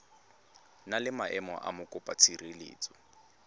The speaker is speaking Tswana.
na le maemo a mokopatshireletso